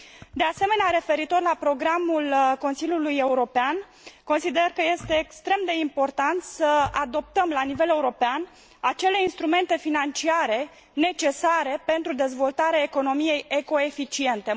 De asemenea, referitor la programul Consiliului European, consider că este extrem de important să adoptăm la nivel european acele instrumente financiare necesare pentru dezvoltarea economiei ecoeficiente.